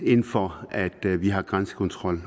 ind for at vi har grænsekontrol